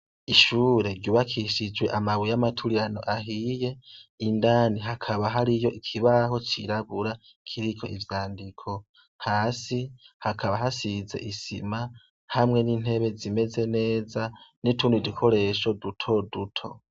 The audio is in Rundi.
Ishure ryubakishijwe amabuye amaturiano ahiye indani hakaba hari yo ikibaho cirabura kiriko ivyandiko hasi hakaba hasize isima hamwe n'intebe zimeze neza n'itundi dikoresho duto duto.